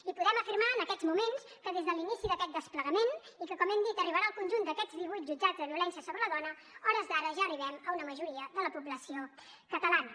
i podem afirmar en aquests moments que des de l’inici d’aquest desplegament i que com hem dit arribarà al conjunt d’aquests divuit jutjats de violència sobre la dona a hores d’ara ja arribem a una majoria de la població catalana